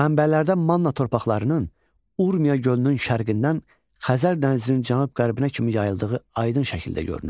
Mənbələrdə Manna torpaqlarının Urmiya gölünün şərqindən Xəzər dənizinin cənub-qərbinə kimi yayıldığı aydın şəkildə görünür.